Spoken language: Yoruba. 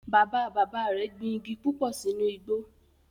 Bàbá bàbá rẹ̀ gbin igi púpò sínú igbó